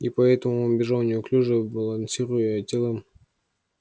и поэтому он бежал неуклюже балансируя телом